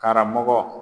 Karamɔgɔ